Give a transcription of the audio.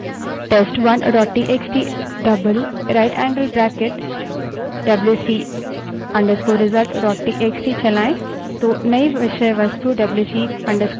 इसके बजाय यदि हम WC space test1 dot TXT writeangled bracket twice WC _ result dot TXT wc space test1 txt rightangled bracket twice wc _ results txt चलायें